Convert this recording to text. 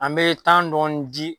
An be tan dɔɔni ji